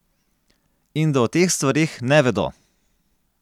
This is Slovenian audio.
In da o teh stvareh ne vedo.